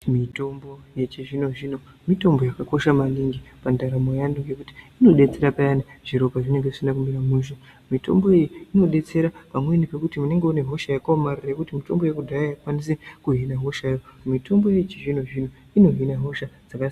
Mitombo yechizvino-zvino mitombo yakakosha maningi pandaramo yeantu ngekuti inodetsera payani zviro pazvinenge zvisina kumira mushe. Mitombo iyi inodetsere pamweni pekuti unenge uine hosha yakaomarara yekuti mitombo yekudhaya haikwanisi kuhina hoshayo. Mitombo yechizvino-zvino inohina hosha dzakasi...